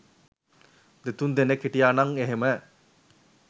දෙතුන් දෙනෙක් හිටියනං එහෙම